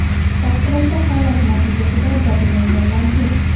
Favqulodda holat natijasida jabrlanganlar yo‘q.